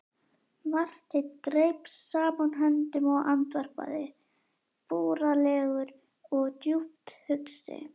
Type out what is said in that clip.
Marteinn greip saman höndum og andvarpaði, búralegur og djúpt hugsi.